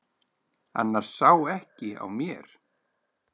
Annars sá ekki á mér.